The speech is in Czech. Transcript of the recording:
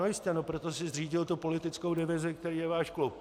No jistě, proto si zřídil tu politickou divizi, kterou je váš klub.